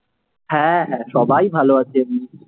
হ্যাঁ হ্যাঁ, সবাই ভালো আছে